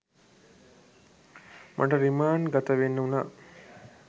මට රිමාන්ඩ් ගත වෙන්න වුණා